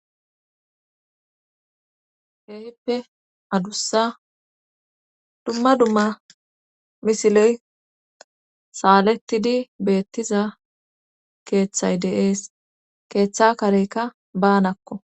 Keehippe adussa dumma dumma misiley saalettidi beettiza keeththay de'ees keeththa kareykka baanakko